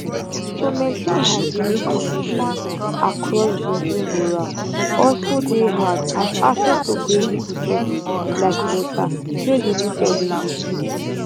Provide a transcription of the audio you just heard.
to maintain hygienic conditions across bujumbura also dey hard as access to basic resources like water dey limited in di city